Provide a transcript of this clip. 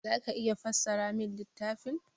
Za ka iya fassara min littafin?